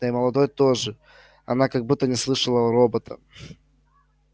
да и молодой тоже она как будто не слышала робота